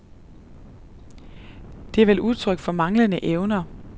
Det er vel udtryk for manglende evner.